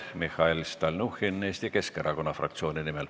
Mihhail Stalnuhhin Eesti Keskerakonna fraktsiooni nimel.